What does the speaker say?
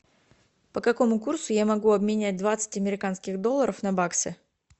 по какому курсу я могу обменять двадцать американских долларов на баксы